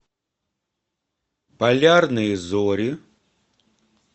полярные зори